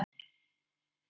Mey, hvernig er veðurspáin?